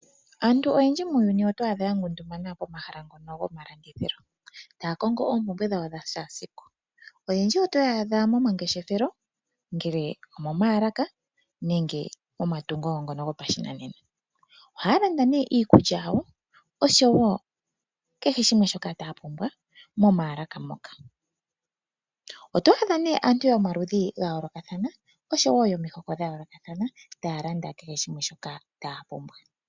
Aantu oyendji muuyuni otwaadha ya ngundumana pomahala ngono go malandithilo, taakongo oompumbwe dhawo dha shaasiku. Oyendji oto ya adha momangeshefelo nenge omo maalaka nenge momatungo ngono gopashinanena.